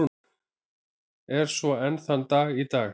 Er svo enn þann dag í dag.